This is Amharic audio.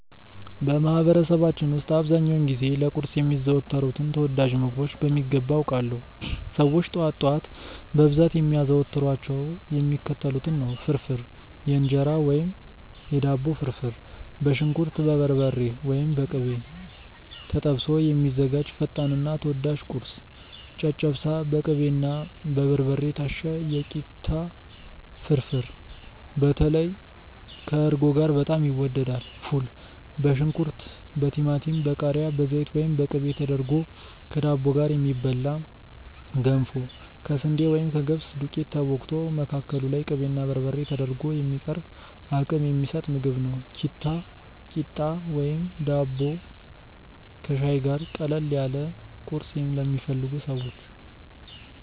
በማህበረሰባችን ውስጥ አብዛኛውን ጊዜ ለቁርስ የሚዘወተሩትን ተወዳጅ ምግቦች በሚገባ አውቃለሁ! ሰዎች ጠዋት ጠዋት በብዛት የሚያዘወትሯቸው የሚከተሉትን ነው፦ ፍርፍር (የእንጀራ ወይም የዳቦ ፍርፍር)፦ በሽንኩርት፣ በበርበሬ (ወይም በቅቤ) ተጠብሶ የሚዘጋጅ ፈጣንና ተወዳጅ ቁርስ። ጨጨብሳ፦ በቅቤና በበርበሬ የታሸ የኪታ ፍርፍር (በተለይ ከእርጎ ጋር በጣም ይወደዳል)። ፉል፦ በሽንኩርት፣ በቲማቲም፣ በቃሪያ፣ በዘይት ወይም በቅቤ ተደርጎ ከዳቦ ጋር የሚበላ። ገንፎ፦ ከስንዴ ወይም ከገብስ ዱቄት ተቦክቶ፣ መካከሉ ላይ ቅቤና በርበሬ ተደርጎ የሚቀርብ አቅም የሚሰጥ ምግብ። ኪታ፣ ቂጣ ወይም ዳቦ ከሻይ ጋር፦ ቀለል ያለ ቁርስ ለሚፈልጉ ሰዎች።